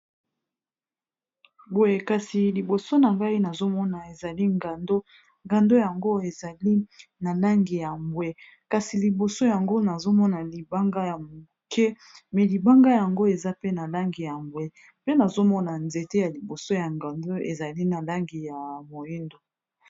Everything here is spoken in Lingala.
liboso na ngai nazomona ezali ngando ngando yango ezali na langi ya bwe kasi liboso yango nazomona libanga ya moke me libanga yango eza pe na langi ya bwe mpe nazomona nzete ya liboso ya gando ezali na langi ya moindo